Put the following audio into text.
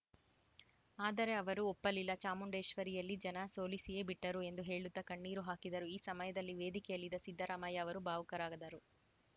ಆದರೆ ಅವರು ಒಪ್ಪಲಿಲ್ಲ ಚಾಮುಂಡೇಶ್ವರಿಯಲ್ಲಿ ಜನ ಸೋಲಿಸಿಯೇ ಬಿಟ್ಟರು ಎಂದು ಹೇಳುತ್ತಾ ಕಣ್ಣೀರು ಹಾಕಿದರು ಈ ಸಮಯದಲ್ಲಿ ವೇದಿಕೆಯಲ್ಲಿದ್ದ ಸಿದ್ದರಾಮಯ್ಯ ಅವರೂ ಭಾವುಕರಾದರು